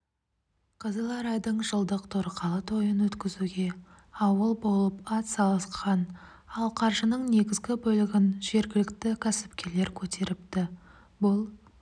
қызыларайдың жылдық торқалы тойын өткізуге ауыл болып атсалысқан ал қаржының негізгі бөлігін жергілікті кәсіпкерлер көтеріпті бұл